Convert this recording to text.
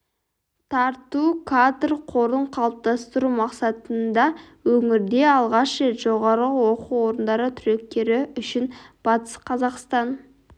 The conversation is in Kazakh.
тарту кадр қорын қалыптастыру мақсатында өңірде алғаш рет жоғары оқу орындары түлектері үшін батыс қазақстан